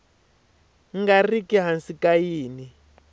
nga riki hansi ka yin